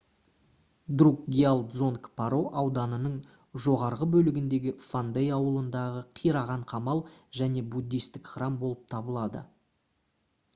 друкгиал дзонг паро ауданының жоғарғы бөлігіндегі фондей ауылындағы қираған қамал және буддистік храм болып табылады